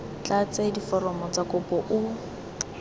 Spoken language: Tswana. tlatse diforomo tsa kopo o